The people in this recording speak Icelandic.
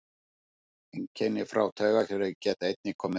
Einkenni frá taugakerfi geta einnig komið fram.